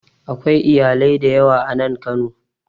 Akwai iyalai da yawa a nan Kano